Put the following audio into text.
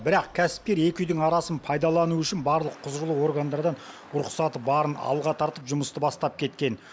бірақ кәсіпкер екі үйдің арасын пайдалану үшін барлық құзырлы органдардан рұқсаты барын алға тартып жұмысты бастап кеткен